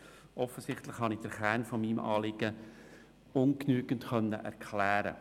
Offensichtlich konnte ich den Kern meines Anliegens nur ungenügend erklären.